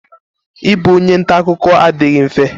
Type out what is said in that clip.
I bụ onye ntakụkọ adịghị mfe.